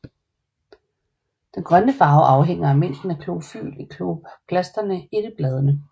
Den grønne farve afhænger af mængden af klorofyl i kloroplasterne i bladene